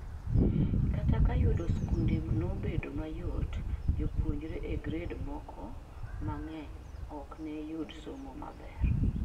Kata ka yudo skunde nobedo mayot jopuonjre e gred moko mang'eny ok neyudi somo maber